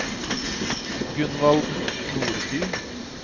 Gunvald Nordby